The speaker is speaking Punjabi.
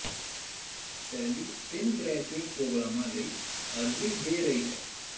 ਸੈਲੀ ਤਿੰਨ ਗ੍ਰੈਜੂਏਟ ਪ੍ਰੋਗਰਾਮਾਂ ਲਈ ਅਰਜ਼ੀ ਦੇ ਰਹੀ ਹੈ